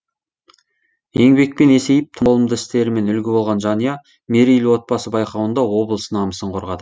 еңбекпен есейіп толымды істерімен үлгі болған жанұя мерейлі отбасы байқауында облыс намысын қорғады